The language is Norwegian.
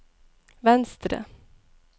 venstre